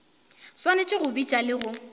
swanetše go bitša le go